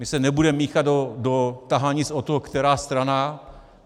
My se nebudeme míchat do tahanic o to, která strana.